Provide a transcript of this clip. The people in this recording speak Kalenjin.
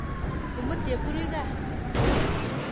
Imut Chepkurui kaa.